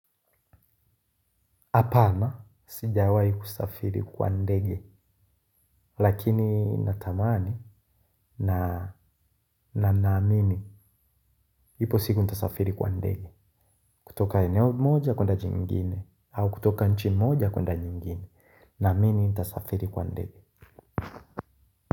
Hapana, sijawahi kusafiri kwa ndege lakini natamani na naamini. Ipo siku nitasafiri kwa ndege. Kutoka eneo moja kwenda jingine, au kutoka nchi moja kwenda nyingine. Naamini nitasafiri kwa ndege.